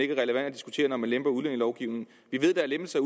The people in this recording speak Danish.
diskutere når man lemper udlændingelovgivningen vi ved der er lempelser